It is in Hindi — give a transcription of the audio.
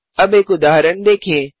अब एक उदाहरण देखें